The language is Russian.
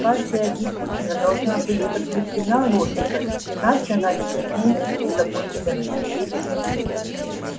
каждая гипотеза должна быть подкреплена логикой иначе она не имеет никакой ценности